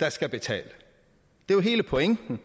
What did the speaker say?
der skal betale hele pointen